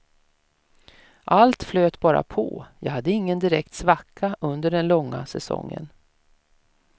Allt flöt bara på, jag hade ingen direkt svacka under den långa säsongen.